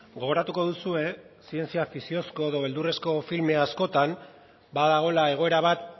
gogoratuko duzue zientzia fikziozko edo beldurrezko filme askotan badagoela egoera bat